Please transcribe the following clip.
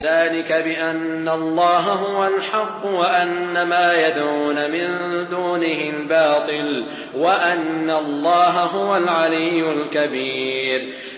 ذَٰلِكَ بِأَنَّ اللَّهَ هُوَ الْحَقُّ وَأَنَّ مَا يَدْعُونَ مِن دُونِهِ الْبَاطِلُ وَأَنَّ اللَّهَ هُوَ الْعَلِيُّ الْكَبِيرُ